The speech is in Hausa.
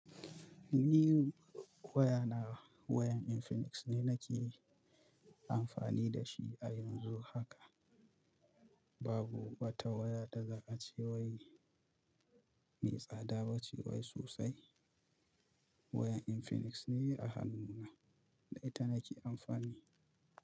Ni waya na wayan Infinix ne nake amfani da shi a yanzu haka. Babu wata waya da za a ce wai me tsada ba ce wai sosai. Wayan Infinix ne a hannuna da ita nake amfani.